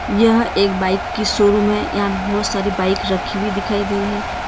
यह एक बाइक की सोरूम है। यहां पे बहोत सारी बाइक रखी हुई दिखाई दे रही है।